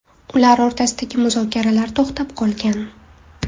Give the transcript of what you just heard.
Ular o‘rtasidagi muzokaralar to‘xtab qolgan .